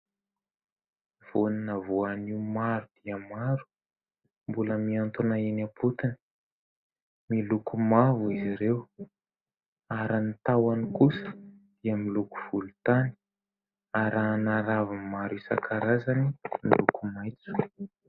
Voanina voanio maro dia maro mbola mihantona eny am-potiny miloko mavo izy ireo ary ny tahoany kosa dia miloko volotany arahana raviny maro isankarazany miloko maitso.